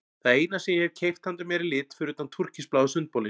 Það eina sem ég hef keypt handa mér í lit fyrir utan túrkisbláa sundbolinn.